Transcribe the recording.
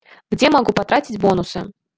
где могу потратить бонусы